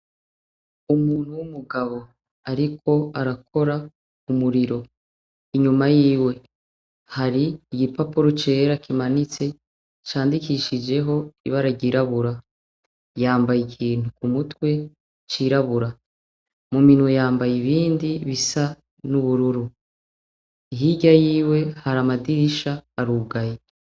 Umuntu w'umugabo, ariko arakora umuriro inyuma yiwe hari igipapuro cera kimanitse candikishijeho ibara ryirabura yambaye ikintu ku mutwe cirabura muminwe yambaye ibindi bisa n'ubururu, ihirya yiwe hari amadirisha arugaye.